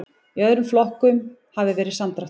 Í öðrum flokkum hafi verið samdráttur